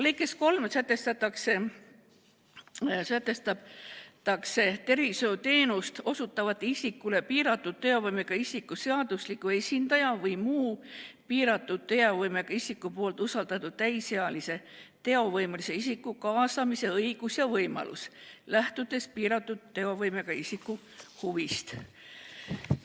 Lõikes 3 sätestatakse, et tervishoiuteenuse osutaja kaasab piiratud teovõimega isiku seadusliku esindaja või muu piiratud teovõimega isiku poolt usaldatud täisealise teovõimelise isiku, kui see on piiratud teovõimega isiku huvides.